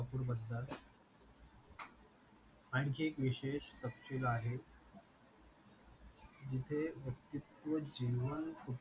आणखि एक विशेष तपशील आहे जेथे व्ययक्तित्व जीवन